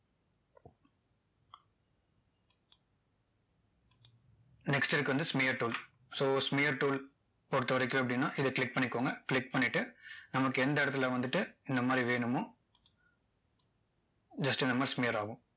next இருக்கிறது வந்து smear tool so smear tool பொறுத்தவரைக்கும் எப்படின்னா இதை click பண்ணிக்கோங்க click பன்ணிட்டு நமக்கு எந்த இடத்துல வந்துட்டு இந்த மாதிரி வேணுமோ just இந்த மாதிரி smear ஆகும்